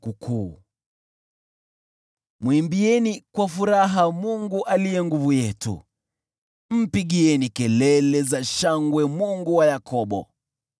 Mwimbieni kwa furaha, Mungu aliye nguvu yetu; mpigieni kelele za shangwe Mungu wa Yakobo!